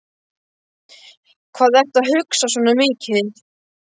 Hvað ertu að hugsa svona mikið?